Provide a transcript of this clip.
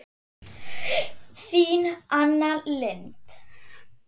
Þín Anna Lind.